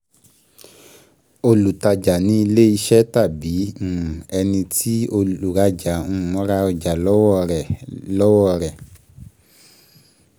Olùtájà ni ilẹ́ ìṣe tàbí um ẹni tí olùrájà um ra ọjà um lọ́wọ́ rẹ̀. lọ́wọ́ rẹ̀.